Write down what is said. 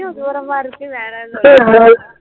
தூரமா இருக்கு வேணாம்னு சொல்லுறாங்க